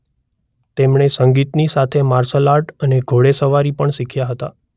તેમણે સંગીતની સાથે માર્શલ આર્ટસ અને ઘોડેસવારી પણ શીખ્યા હતા.